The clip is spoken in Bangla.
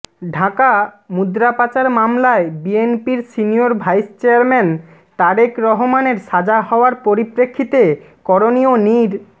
ঢাকাঃ মুদ্রাপাচার মামলায় বিএনপির সিনিয়র ভাইস চেয়ারম্যান তারেক রহমানের সাজা হওয়ার পরিপ্রেক্ষিতে করণীয় নির্